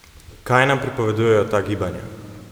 Kaj nam pripovedujejo ta gibanja?